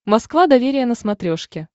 москва доверие на смотрешке